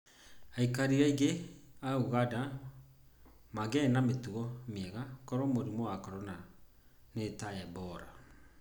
Aikari aingĩ a ũganda mangĩarĩ na mĩtugo mĩega korũo mũrimũ wa korona nĩ ta Ebola.